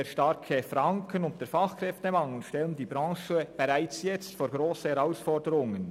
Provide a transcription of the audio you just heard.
Der starke Franken und der Fachkräftemangel stellen die Branche bereits jetzt vor grosse Herausforderungen.